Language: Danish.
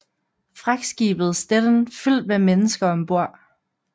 Fragtskibet Stettin fyldt med mennesker ombord